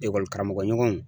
Ekɔli karamɔgɔɲɔgɔnw